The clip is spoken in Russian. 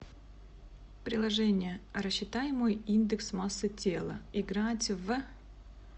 приложение рассчитай мой индекс массы тела играть в